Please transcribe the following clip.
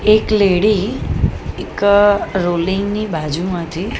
એક લેડી એક રોલિંગ ની બાજુમાંથી --